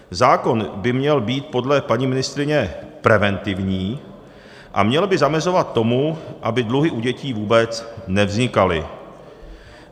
Zákon by měl být podle paní ministryně preventivní a měl by zamezovat tomu, aby dluhy u dětí vůbec nevznikaly.